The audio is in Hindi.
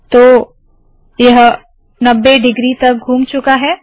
तो यह 90 डिग्री तक घुम चूका है